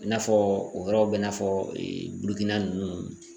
I n'a fɔ o yɔrɔw bɛ i n'a fɔ Bukina ninnu